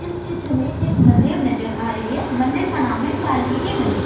इस चित्र में एक मंदिर नजर आ रही हैं मंदिर का नाम है वाल्मीकि मंदिर।